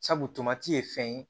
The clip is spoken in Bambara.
Sabu tomati ye fɛn ye